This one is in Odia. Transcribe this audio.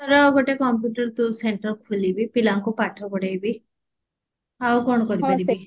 ବାଲେଶ୍ଵର ଗୋଟେ computer ତୁ center ଖୋଲିବି ପିଲାଙ୍କୁ ପାଠ ପଢେଇବି ଆଉ କଣ କରି ପାରିବି